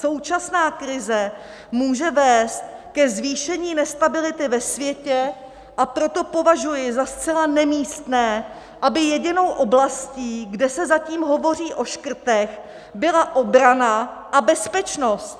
Současná krize může vést ke zvýšení nestability ve světě, a proto považuji za zcela nemístné, aby jedinou oblastí, kde se zatím hovoří o škrtech, byla obrana a bezpečnost.